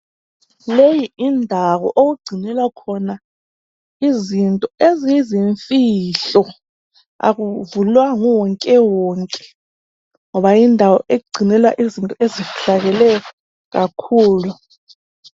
Leyi yindawo okugcinelwa khona izinto eziyizinfihlo. Akuvulwa nguwonke wonke ngoba yindawo egcinelwa izinto ezifihlakeleyo kakhulu.